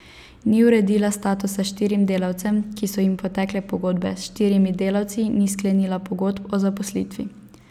Ni uredila statusa štirim delavcem, ki so jim potekle pogodbe, s štirimi delavci ni sklenila pogodb o zaposlitvi.